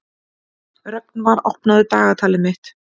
Rögnvar, opnaðu dagatalið mitt.